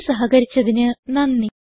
ഞങ്ങളോട് സഹകരിച്ചതിന് നന്ദി